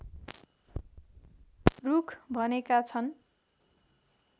रुख भनेका छन्